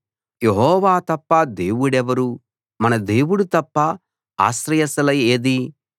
యెహోవా తప్ప దేవుడెవరు మన దేవుడు తప్ప ఆశ్రయశిల ఏది